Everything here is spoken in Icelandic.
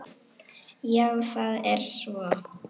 Já það er svo.